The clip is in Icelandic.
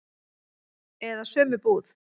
Eða sömu búð.